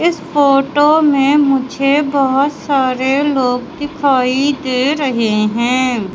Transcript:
इस फोटो में मुझे बहुत सारे लोग दिखाई दे रहे हैं।